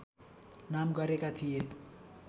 नाम गरेका थिए